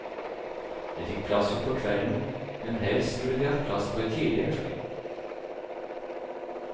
De fikk plass utpå kvelden, men helst skulle de hatt plass på et tidligere fly.